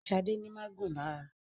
Shade ní má gún lára.